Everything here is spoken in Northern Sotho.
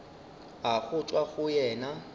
a go tšwa go yena